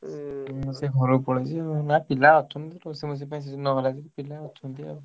ହୁଁ ସେ ଘରକୁ ପଳେଇଛି ଆଉ, ନା ପିଲା ଅଛନ୍ତି ରୋଷେଇ ମୋସେଇ ପାଇଁ ସେ ନହେଲା ଯଦି ପିଲା ଅଛନ୍ତି ଆଉ।